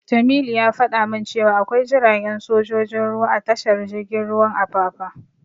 Jamilu ya fada min cewa akwai jiragen sojojin ruwa a tashar jirgin ruwan Apapa.